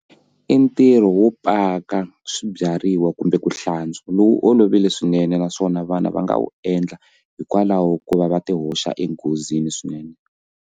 I ntirho wo paka swibyariwa kumbe ku hlantswa lowu olovile swinene naswona vana va nga wu endla hikwalaho ko va va ti hoxa enghozini swinene.